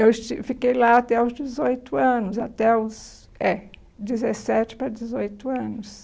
Eu esti fiquei lá até os dezoito anos, até os, é, dezessete para dezoito anos.